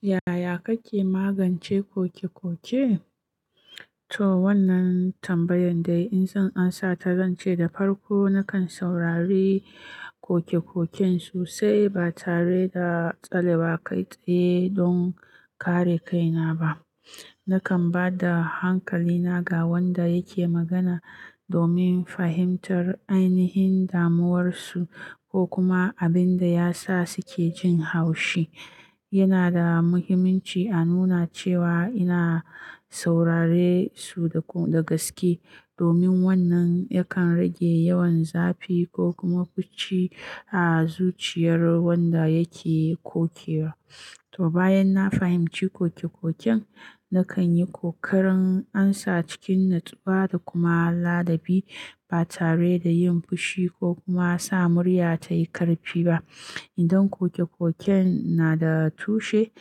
Yaya kake magance koke-koke? To wannan tambayan dai zan amsa ta, zan ce da farko nakan saurari koke-koken su, sai ba tare da tsale ba kai tsaye don kare kaina ba. Nakan ba da hankalina ga wanda yake magana domin fahimtar ainihin damuwarsu ko kuma abin da ya sa suke jin haushi. Yana da muhimmanci a nuna cewa ina saurare su da gaske domin wannan yakan rage yawan zafi ko kuma fushi a zuciyar wanda yake koke wa. To bayan na fahimci koke-koken, nakan yi kokarin amsa cikin nutsuwa da kuma ladabi ba tare da yin fushi ko kuma sa murya ta yi ƙarfi ba. Idan koke-koken na da tushe,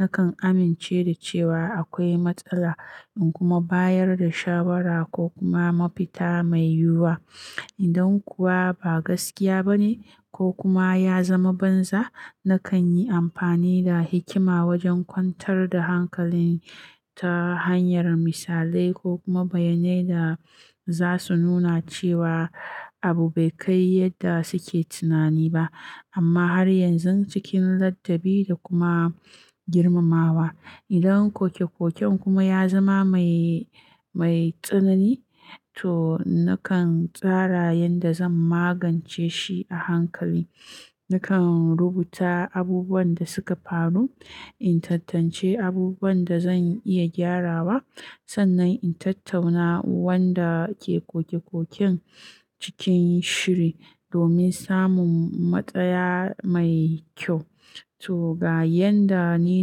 nakan amince da cewa akwai matsala in kuma bayar da shawara ko kuma mafita mai yiwuwa. Idan kuwa ba gaskiya ba ne ko kuma ya zama banza, nakan yi amfani da hikima wajen kwantar da hankali ta hanyar misalai ko kuma bayyanai da za su nuna cewa abu bai kai yadda suke tunani ba amma har yanzu cikin ladabi da kuma girmamawa. Idan koke-koken kuma ya zama mai, mai tsanani, to nakan tsara yadda zan magance shi a hankali. Nakan rubuta abubuwan da suka faru, in tantance abubuwan da zan iya gyarawa sannan in tattauna wanda ke koke-koken cikin shiri domin samun matsaya mai kyau. To ga yadda ni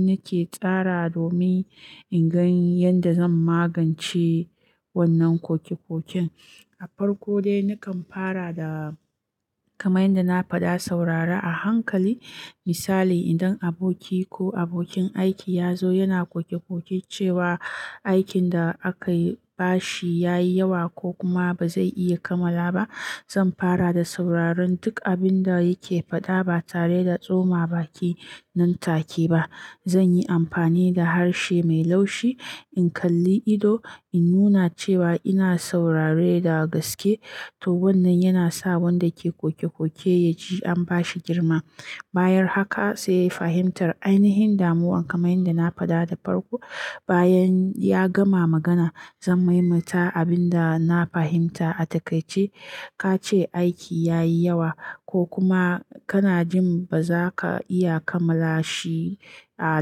nake tsara domin in gan yadda zan magance wannan koke-koken. A farko dai nakan fara da kaman yadda na faɗa saurara a hankali. Misali, idan aboki ko abokin aiki ya zo yana koke-koke cewa aikin da aka ba shi ya yi yawa ko kuma ba zai iya kammala ba, zan fara da sauraron duk abin da yake faɗa ba tare da tsoma baki nan take ba. Zan yi amfani da harshe mai laushi, in kalli ido, in nuna cewa ina saurare da gaske. To wannan yana sa wanda ke koke-koke ya ji an ba shi girma. Bayan haka sai ya fahimtar ainihin damuwa kamar yadda na faɗa da farko. Bayan ya gama magana zan maimaita abin da na fahimta. A takaice, "Ka ce aiki ya yi yawa ko kuma kana jin ba za ka iya kammala shi a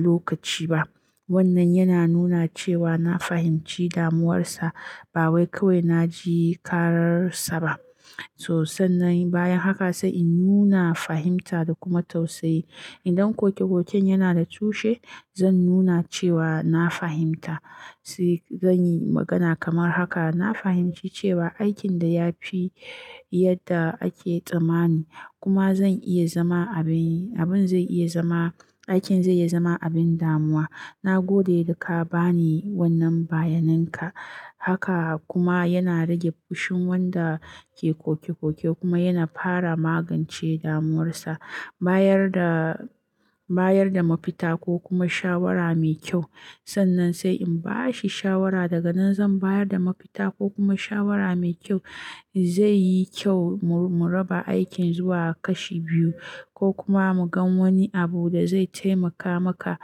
lokaci ba." Wannan yana nuna cewa na fahimci damuwarsa ba wai kawai na ji karar sa ba. To sannan bayan haka sai in nuna fahimta da kuma tausayi. Idan koke-koken yana da tushe, zan nuna cewa na fahimta. Sai zan yi magana kamar haka, "na fahimci cewa aikin da ya fi yadda ake tsammani kuma zan iya zama abin, abin zai iya zama, aikin zai iya zama abin damuwa. Na gode da ka ba ni wannan bayaninka." Haka kuma yana rage fushin wanda ke koke-koke kuma yana fara magance damuwarsa. Bayar da, bayar da mafita ko kuma shawara mai kyau. Sannan sai in ba shi shawara daga nan, "Zan bayar da mafita ko kuma shawara mai kyau. Zai yi kyau mu raba aikin zuwa kashi biyu ko kuma mu gan wani abu da zai taimaka maka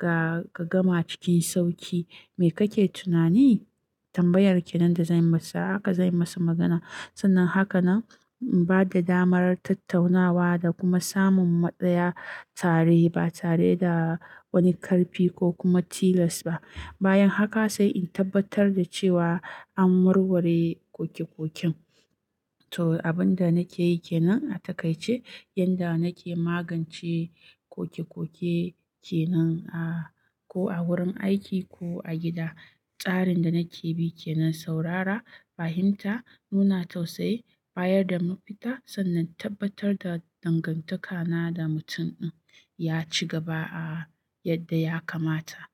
ka gama cikin sauƙi. Me kake tunani?" Tambayar ke nan da zan masa haka, zan masa magana. Sannan haka nan ba da damar tattaunawa da kuma samun matsaya tare ba tare da wani ƙarfi ko kuma tilas ba. Bayan haka sai in tabbatar da cewa an warware koke-koken. To abin da nake yi ke nan a takaice yadda nake magance koke-koke ke nan a ko a wurin aiki ko a gida. Tsarin da nake bi ke nan saurara, fahimta, nuna tausayi, bayar da mafita sannan tabbatar da dangantaka na da mutum ɗin ya ci gaba a yadda ya kamata.